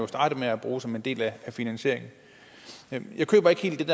starte med at bruge som en del af finansieringen jeg køber ikke helt